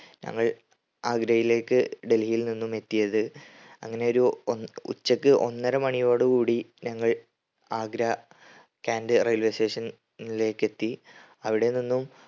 ഞങ്ങൾ ആഗ്രയിലേക്ക് ഡൽഹിയിൽ നിന്നുമെത്തിയത്. അങ്ങനെയൊരു ഒന്നൊ ഉച്ചക്ക് ഒന്നര മണിയോടെ കൂടി ഞങ്ങൾ ആഗ്ര കേൻറ്റ് railway station ലേക്ക് എത്തി. അവിടെനിന്നും